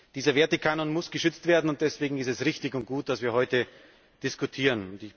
Dieser Wertekanon muss geschützt werden, und deswegen ist es richtig und gut, dass wir heute diskutieren.